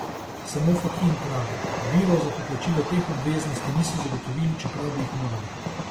Samo Fakin pravi: 'Virov za poplačilo teh obveznosti niso zagotovili, čeprav bi jih morali.